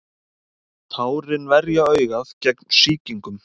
tárin verja augað gegn sýkingum